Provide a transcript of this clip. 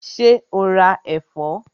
Ṣé o ra ẹ̀fọ́?